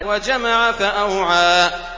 وَجَمَعَ فَأَوْعَىٰ